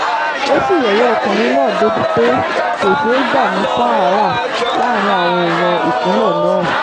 ó sì yẹ̀yẹ́ ọkùnrin náà débìí pé kó ṣe é gbà ní sáárá láàrin àwọn èèyàn ìpínlẹ̀ náà